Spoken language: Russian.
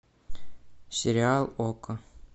сериал окко